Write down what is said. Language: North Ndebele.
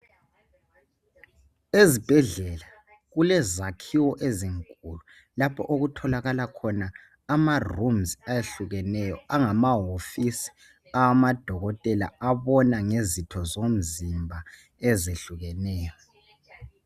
Ezibhedlela kule zakhiwo ezinkulu lapho okuthilakala khona ama 'rooms' ayehlukeneyo angamahosi awamadokotela abona ngezotho zomzimba ezihlukeneyo.